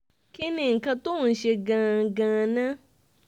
kí ni nǹkan tó ń ṣe é gangan náà